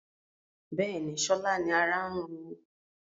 Bẹ́ẹ̀ni, sọlá ni ará ń ro